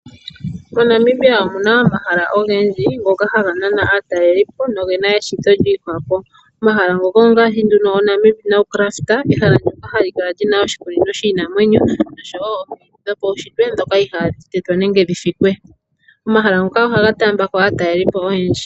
MoNamibia omuna omahala ogendji ngoka haga nana aatalelipo noge na eshito lyiihwapo. Omahala ngoka ongaashi oNamib Naukluft, ehala ndjoka hali kala lyina oshikunino shiinamwenyo nosho wo omiti dhopaushitwe dhoka iiha dhi tetwa nenge dhi fikwe. Omahala ngoka ohaga taambulako aatalelipo oyendji.